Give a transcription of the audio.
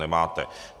Nemáte.